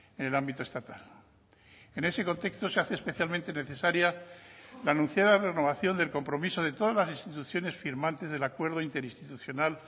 en el ámbito estatal en ese contexto se hace especialmente necesaria la anunciada renovación del compromiso de todas las instituciones firmantes del acuerdo interinstitucional